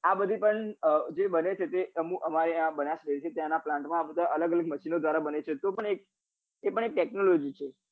આ બધી પણ જે બને છે એ અમાર આ બનાસ dairy છે એના આ plant માં આ બધા અલગ અલગ machine ઓ દ્વારા બને છે તો પણ એક તે પણ એક technology છે